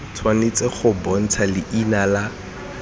tshwanetse go bontsha leina la